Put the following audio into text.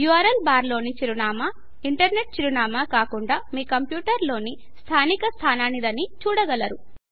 URL bar లోని చిరునామా internet చిరునామా కాకుండా మీ కంప్యూటర్ లోని స్థానిక స్థాననిదని చూడగలరు